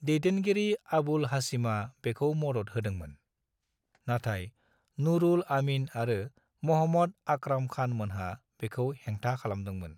दैदेनगिरि आबुल हाशिमा बेखौ मदद होदोंमोन, नाथाय नूरुल आमीन आरो महम्मद आक्राम खान मोनहा बेखौ हेंथा खालामदोंमोन।